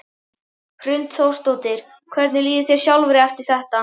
Hrund Þórsdóttir: Hvernig líður þér sjálfri eftir þetta?